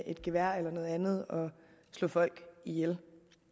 et gevær eller noget andet og slå folk ihjel